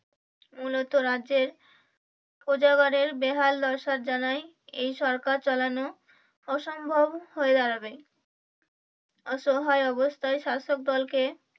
মূলত রাজ্যের প্রজা গণের বেহাল দশা জানায় এই সরকার চালানো অসম্ভব হয়ে দাঁড়াবে অসহায় অবস্থায় শাষক দলকে